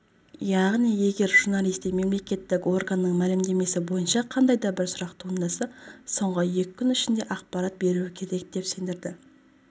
яғни егер журналисте мемлекеттік органның мәлімдемесі бойынша қандай да бір сұрақ туындаса соңғысы екі күн ішінде ақпарат беруі керек деп сендірді